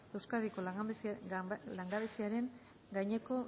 euskadiko langabeziaren gaineko